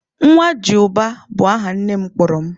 "Ńwajịubá" bu aha nne m kpọrọ m